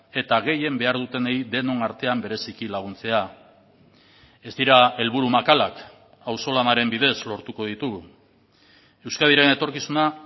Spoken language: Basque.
eta gehien behar dutenei denon artean bereziki laguntzea ez dira helburu makalak auzolanaren bidez lortuko ditugu euskadiren etorkizuna